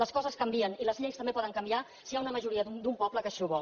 les coses canvien i les lleis també poden canviar si hi ha una majoria d’un poble que així ho vol